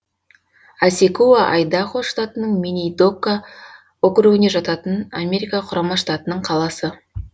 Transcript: асекуа айдахо штатының минидока округіне жататын америка құрама штатының қаласы